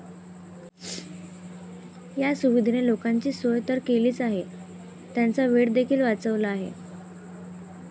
या सुविधेने लोकांची सोय तर केलीच आहे, त्यांचा वेळ देखील वाचवला आहे.